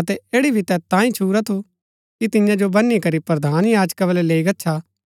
अतै ऐड़ी भी तैत तांयें ही छुरा थु कि तियां जो बनी करी प्रधान याजका बलै लैई गच्छा